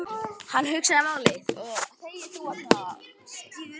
Hann hugsaði málið.